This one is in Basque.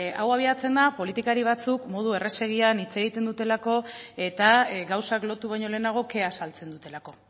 ezta hau abiatzen da politikari batzuk modu errazegian hitz egiten dutelako eta gauzak lotu baino lehenago kea azaltzen dutelako